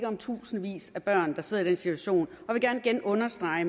om tusindvis af børn der sidder i den situation vil jeg gerne igen understrege at